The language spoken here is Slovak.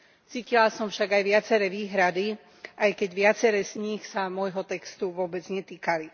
Cítila som však aj viaceré výhrady, aj keď viaceré z nich sa môjho textu vôbec netýkali.